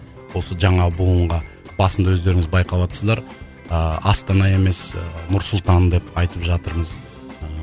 осы жаңа буынға басында өздеріңіз байқаватсыздар ыыы астана емес ы нұр сұлтан деп айтып жатырмыз ыыы